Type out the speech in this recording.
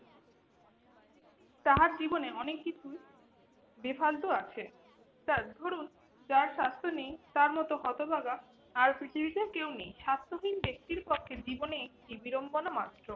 তাহার জীবনে অনেক কিছুই বেফালতু আছে। তা ধরুন যার স্বাস্থ্য নেই তার মত হতভাগা আর পৃথিবীতে কেউ নেই। স্বাস্থ্যহীন ব্যক্তির পক্ষে জীবনে একটি বিড়ম্বনা মাত্র।